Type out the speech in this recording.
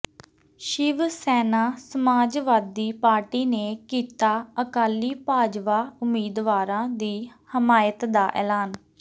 Shiv Sena Samajwadi party ਨੇ ਕੀਤਾ ਅਕਾਲੀ ਭਾਜਪਾ ਉਮੀਦਵਾਰਾਂ ਦੀ ਹਮਾਇਤ ਦਾ ਐਲਾਨ